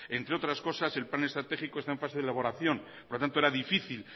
entre otras cosas el plan estratégico está en fase de elaboración por lo tanto era difícil